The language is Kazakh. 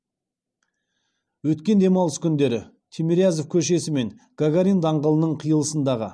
өткен демалыс күндері тимирязев көшесі мен гагарин даңғылының қиылысындағы